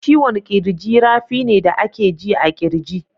Ciwon kirji rafi ne da a ke ji a kirji.